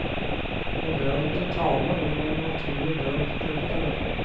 Og det er ikke tale om noen naturlig død. punktum